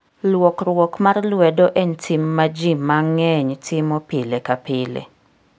Luokruok mar lwedo en tim ma ji mang'eny timo pile ka pile.